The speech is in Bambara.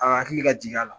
A hakili ka jigi a la